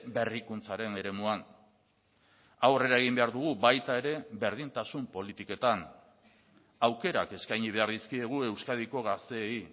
berrikuntzaren eremuan aurrera egin behar dugu baita ere berdintasun politiketan aukerak eskaini behar dizkiegu euskadiko gazteei